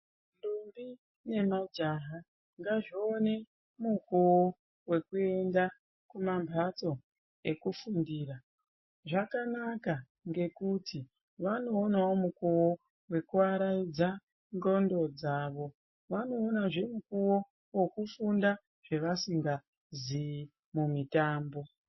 Ndombi nemajaha ngazvione mukuwo wekuenda kumambatso ekufundira. Zvakanaka ngekuti vanoonawo mukuwo wekuaraidza ndxondo dzavo. Vanoonazve mukuwo wekufunda zvevasingazivi mumitambo.